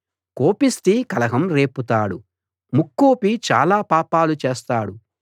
కోపిష్టి కలహం రేపుతాడు ముక్కోపి చాలా పాపాలు చేస్తాడు